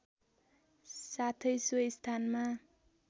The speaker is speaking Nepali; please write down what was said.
साथै सो स्थानमा